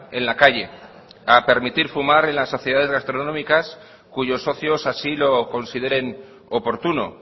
en la calle a permitir fumar en las sociedades gastronómicas cuyos socios así lo consideren oportuno